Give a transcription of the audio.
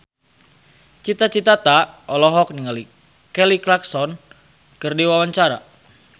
Cita Citata olohok ningali Kelly Clarkson keur diwawancara